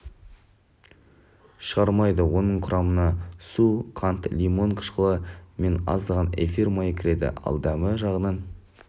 шығармайды оның құрамына су қант лимон қышқылы мен аздаған эфир майы кіреді ал дәмі жағынан